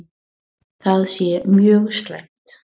Það sé mjög slæmt.